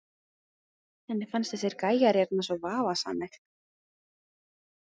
Henni finnst þessir gæjar hérna svo vafasamir.